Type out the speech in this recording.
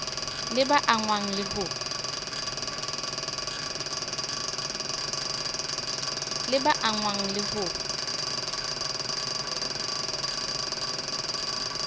le ba angwang le ho